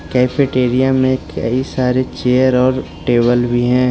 Cafeteria में कई सारे चेयर और टेबल भी हैं।